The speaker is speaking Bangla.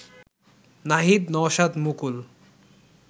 নাহিদ নওশাদ মুকুল